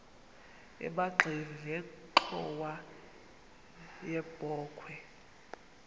emagxeni nenxhowa yebokhwe